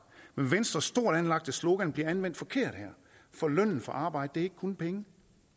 men venstres stort anlagte slogan bliver anvendt forkert her for lønnen for arbejde er ikke kun penge